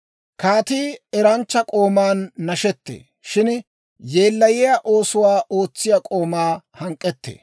Kaatii eranchcha k'ooman nashettee; shin yeellayiyaa oosuwaa ootsiyaa k'oomaa hank'k'ettee.